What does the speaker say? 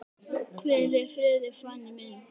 Hvíl í friði, Fanný mín.